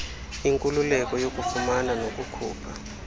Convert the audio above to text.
inkululeko yokufumana nokukhupha